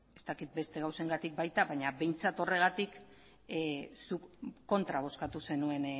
ez dakit beste gauzengatik baita baina behintzat horregatik zuk kontra bozkatu zenuen